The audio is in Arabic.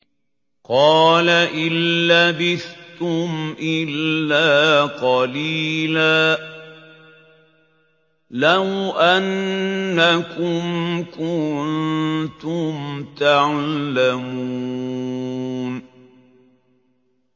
قَالَ إِن لَّبِثْتُمْ إِلَّا قَلِيلًا ۖ لَّوْ أَنَّكُمْ كُنتُمْ تَعْلَمُونَ